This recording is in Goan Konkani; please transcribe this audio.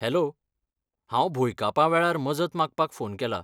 हॅलो, हांव भुंयकापा वेळार मजत मागपाक फोन केला.